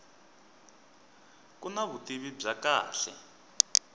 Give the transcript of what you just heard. ku na vutivi bya kahle